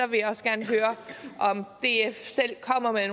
vil jeg også gerne høre om df selv kommer med